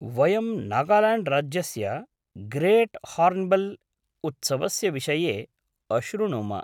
वयं नागाल्याण्ड्राज्यस्य great hornbill उत्सवस्य विषये अशृणुम।